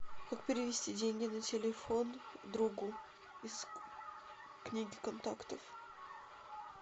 как перевести деньги на телефон другу из книги контактов